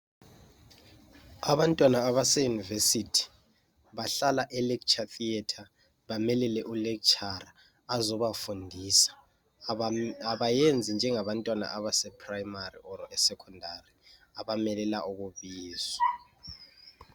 Abantwana abase univesity bahlala e lecture theator bamelele u lecturer azobafundisa abayenzi njengabantwana abase primary kumbe e secondary abamelele ukubizwa.